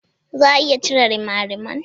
Za a iya cire rimariman?